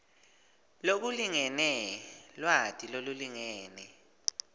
lokulingene lwati lolulingene